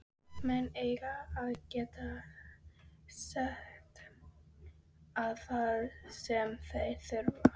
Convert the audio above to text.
Menn eiga að geta sest að þar sem þurfa þykir.